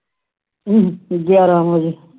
ਹੂ ਗਿਆਰਾਂ ਵਜੇ